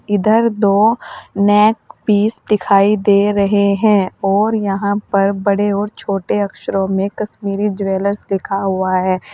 इधर दो neck piece दिखाई दे रहे है और यहां पर बड़े और छोटे अक्षरों में कश्मीरी ज्वेलर्स लिखा हुआ है।